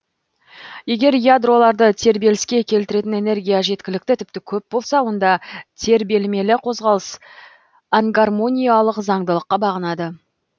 егер ядроларды тербеліске келтіретін энергия жеткілікті тіпті көп болса онда тербелмелі қозғалыс ангармоникалық заңдылыққа бағынады